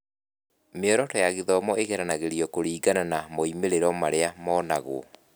Mĩoroto ya gĩthomo ĩgeragĩrio kũringana na moimĩrĩro marĩa monagwo.